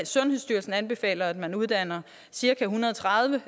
sundhedsstyrelsen anbefaler at man uddanner cirka en hundrede og tredive